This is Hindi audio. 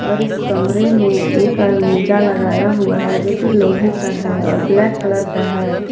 और इस कमरे में एक अलमीरा लगाया हुआ है जो की लोहे का है और ब्लैक कलर का है।